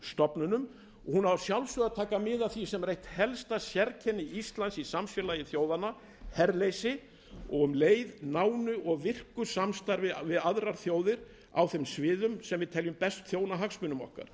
stofnunum og hún á að sjálfsögðu að taka mið af því sem er eitt helsta sérkenni íslands í samfélagi þjóðanna herleysi og um leið nánu og virku samstarfi við aðrar þjóðir á þeim sviðum sem við teljum best þjóna hagsmunum okkar